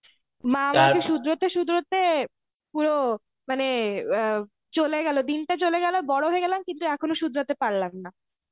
মা আমায় সুধরতে সুধরতে পুরো মানে আঁ চলে গেলো দিনটা চলে গেলো বড় হয়ে গেলাম কিন্তু এখনো সুধরতে পারলাম না.